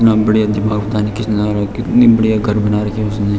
इतना बढ़िया किसने लगा रखा है कितना बढ़िया घर बना रखा है उसने।